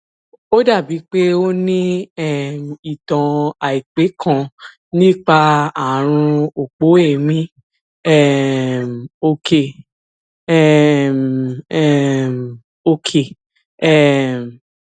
ó dàbíi pé o ní um ìtàn àìpẹ kan nípa ààrùn òpó èémí um òkè um um òkè um